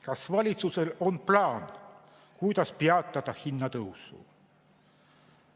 Kas valitsusel on plaan, kuidas peatada hinnatõusu?